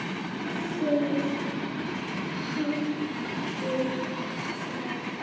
Þið haldið það.